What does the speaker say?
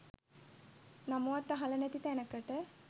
නමවත් අහලා නැති තැනකට.